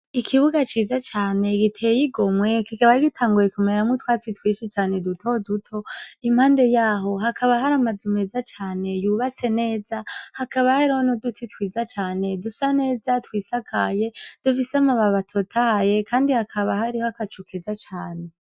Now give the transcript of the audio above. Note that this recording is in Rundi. Ikibuga ciza cane giteye igomwe kikaba gitanguye kumeramwo utwatsi twinshi cane duto duto impande yaho hakaba hari amazu meza cane yubatse neza hakaba hariho nuduti twiza dusaneza twisakaye dufise amababi atotahaye kandi hakaba hariho agacu keza cane